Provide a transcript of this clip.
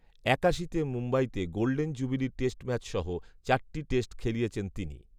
একাশিতে মুম্বইতে golden jubilee test ম্যাচসহ, চারটি টেস্ট খেলিয়েছেন তিনি